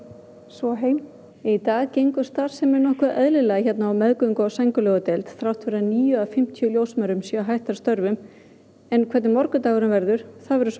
svo heim í dag gengur starfsemin nokkuð eðlilega hérna á meðgöngu og sængurlegudeild þrátt fyrir að níu af fimmtíu ljósmæðrum séu hættar störfum en hvernig morgundagurinn verður það verður